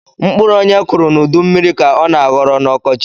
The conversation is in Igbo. Mkpụrụ onye kuru na udu mmiri ka ọ na aghọrọ na ọkọchi